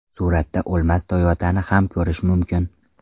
Suratda o‘lmas Toyota’ni ham ko‘rish mumkin.